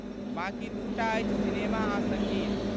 बाकी दू टा अछि सिनेमा आ सङ्गीत।